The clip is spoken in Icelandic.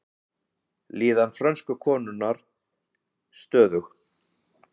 Líðan frönsku konunnar stöðug